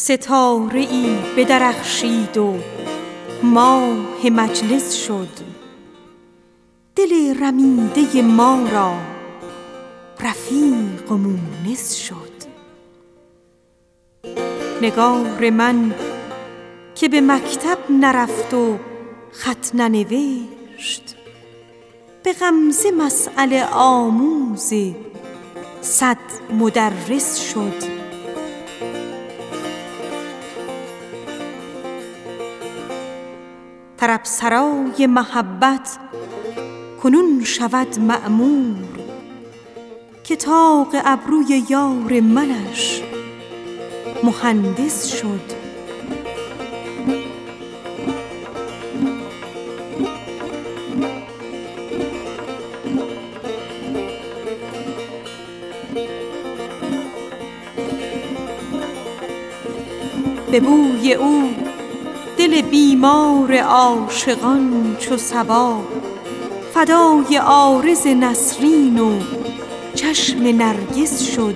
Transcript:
ستاره ای بدرخشید و ماه مجلس شد دل رمیده ما را رفیق و مونس شد نگار من که به مکتب نرفت و خط ننوشت به غمزه مسأله آموز صد مدرس شد به بوی او دل بیمار عاشقان چو صبا فدای عارض نسرین و چشم نرگس شد